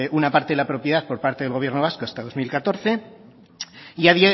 una parte de la propiedad por parte del gobierno vasco hasta el dos mil catorce y a